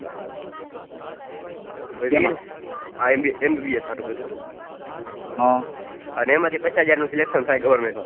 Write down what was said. આ MBBS હતુ કદાચ એમા પચ્ચાં હજાર નું selection થાય goverment માં